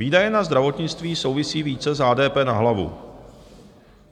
Výdaje na zdravotnictví souvisí více s HDP na hlavu,